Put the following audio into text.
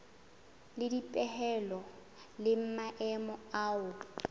le dipehelo le maemo wa